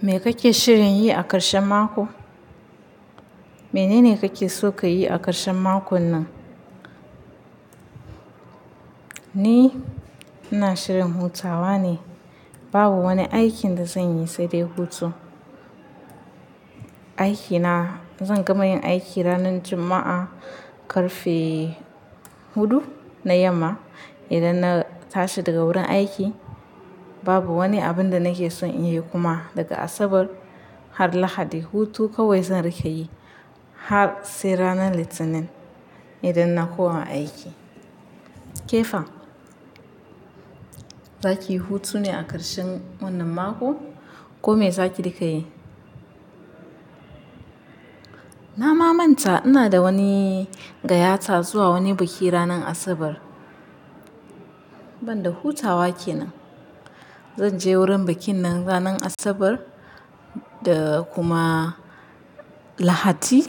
Me kake shirin yi a ƙarshen mako? Menene kake so ka yi a ƙarshen mako nan? Ni, ina shirin hutawa ne. Babu wani aikin da zan yi sai dai hutu. Aikina, zan gama yin aiki ranar Juma'a, ƙarfe hudu na yamma. Idan na tashi daga wurin aiki, babu wani abun da nake son in yi kuma daga Asabar har Lahadi. Hutu kawai zan riƙa yi har sai ranar Litinin idan na koma aiki. Ke fa, za ki yi hutu ne a ƙarshen wannan makon ko me za ki riƙa yi? Na mamanta ina da wani gayyata zuwa wani biki ranar Asabar. Ban da hutawa ke nan. Zan je wurin bikin nan ranar Asabar da kuma Lahadi.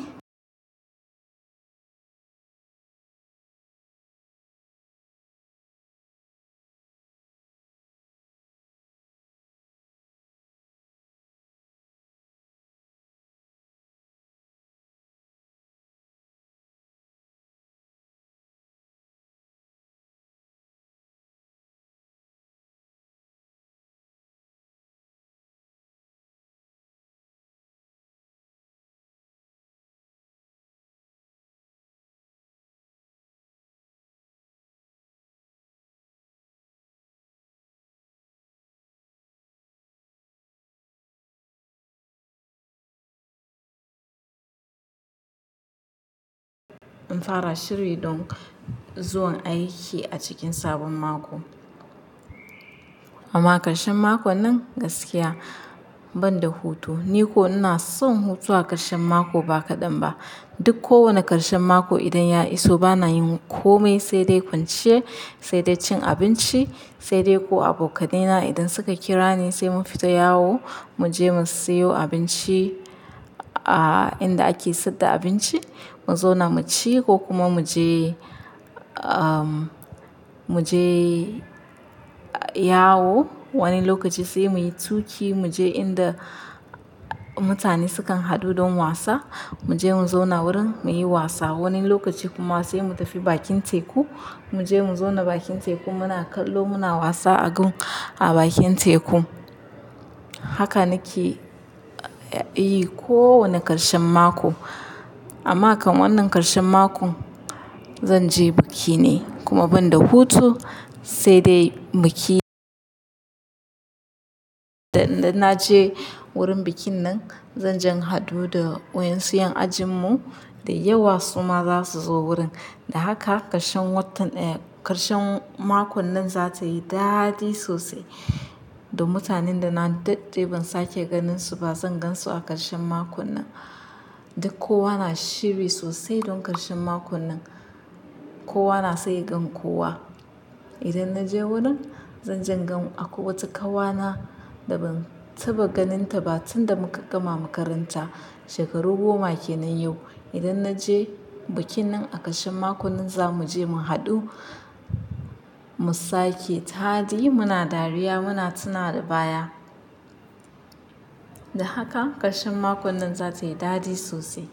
In fara shiri don zuwan aiki a cikin sabon mako. Amma ƙarshen makon nan gaskiya ban da hutu. Ni ko ina son hutuwa ƙarshen mako ba kaɗan ba. Duk kowane ƙarshen mako idan ya iso bana yin kome sai dai kwanciya, sai dai cin abinci, sai dai ko abokai na idan suka kira ni sai mun fita yawo, mu je mu siyo abinci a inda ake sayar da abinci, mu zauna mu ci ko kuma mu je, ah, mu je yawo. Wani lokaci sai muyi tuƙi mu je inda mutane sukan haɗu don wasa. Mu je mu zauna wurin muyi wasa. Wani lokaci kuma sai mu tafi bakin teku. Mu je mu zauna bakin teku muna kallo muna wasa a gun a bakin teku. Haka nake yi kowane ƙarshen mako. Amma kan wannan ƙarshen mako, zan je biki ne kuma ban da hutu sai dai biki Da idan na je wurin bikin nan, zan jan haɗu da wayen su 'yan ajin mu da yawa suma za su zo wurin. Da haka ƙarshen watan, eh, ƙarshen makon nan za ta yi dadi sosai. Da mutanen da na daɗɗe ban sake ganin su ba zan gan su a ƙarshen makon nan. Duk kowa na shiri sosai don ƙarshen makon nan. Kowa na so ya gan kowa. Idan na je wurin, zan jan gan a kwai wata ƙawana da ban taɓa ganin ta ba tun da muka gama makaranta. Shekaru goma kenan yau. Idan na je bikin nan a ƙarshen makon nan za mu je mu haɗu, mu sake taɗi, muna dariya, muna tunawa da baya. Da haka ƙarshen makon nan za ta yi dadi sosai.